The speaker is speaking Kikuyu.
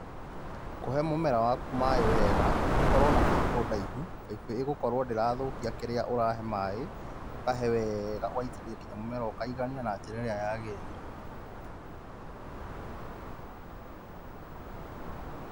kũhe mũmera waku maaĩ wega nĩ ũkorwo na baĩbũ ndaĩhu baĩbũ ĩgũkorwo ndĩrathũkia kirĩa ũrahe maaĩ ũkahe weega ũgaitĩrĩria nginya mũmera ũkaigania na njĩra ĩrĩa yagĩrĩire.